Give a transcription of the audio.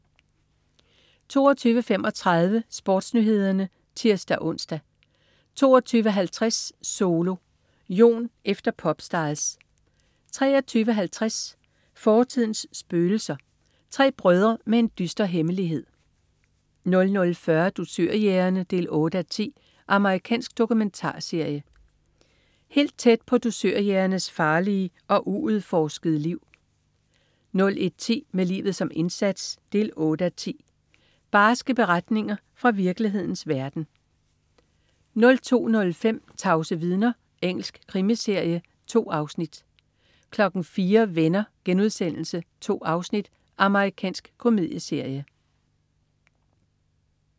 22.35 SportsNyhederne (tirs-ons) 22.50 Solo. Jon efter Popstars 23.50 Fortidens spøgelser. Tre brødrer med en dyster hemmelighed 00.40 Dusørjægerne 8:10. Amerikansk dokumentarserie. Helt tæt på dusørjægernes farlige og uudforskede liv 01.10 Med livet som indsats 8:10. Barske beretninger fra virkelighedens verden 02.05 Tavse vidner. Engelsk krimiserie. 2 afsnit 04.00 Venner.* 2 afsnit. Amerikansk komedieserie